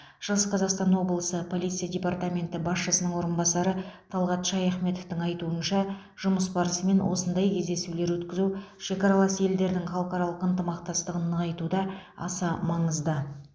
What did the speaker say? шығыс қазақстан облысы полиция департаменті басшысының орынбасары талғат шаяхметовтің айтуынша жұмыс барысымен осындай кездесулер өткізу шекаралас елдердің халықаралық ынтымақтастығын нығайтуда аса маңызды